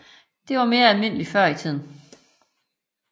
Det var mere almindeligt før i tiden